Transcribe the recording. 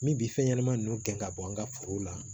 Min bi fɛn ɲɛnama nunnu gɛn ka bɔ an ka forow la